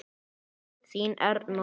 Þín Erna.